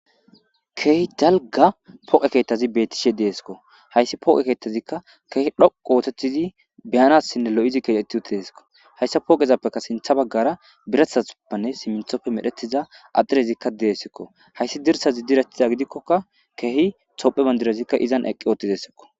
Kehi dalga pooqe keettazi bettishe deeskko hayssi pooqe keettazikka keehi dhoqu ootetizi beyanassinne lo'izi keetetti uti deesiko hayssa pooqezappeka sintha baggara biratha huppanne simithopfe medhetiza adhirezikka deessikko hayssi dirsazi direttiza gidikkokka keehi topphe bandirazikka izan eqqi ootizessikko.